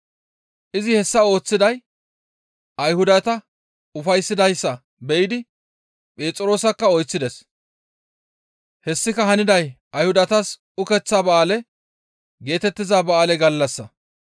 Izi hessa ooththiday Ayhudata ufayssidayssa be7idi Phexroosakka oyththides; hessika haniday Ayhudatas ukeththa ba7aale geetettiza ba7aale gallassa.